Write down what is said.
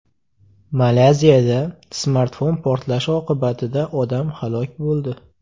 Malayziyada smartfon portlashi oqibatida odam halok bo‘ldi.